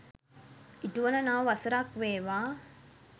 ඉටුවන නව වසරක් වේවා.